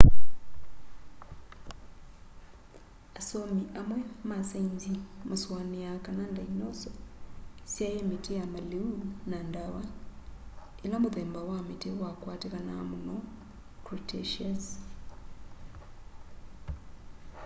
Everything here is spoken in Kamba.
asomi amwe ma sainzi masuaniaa kana ndainoso syaie miti ya maliu na ndawa ila muthemba wa miti wakwatikanaa muno cretaceous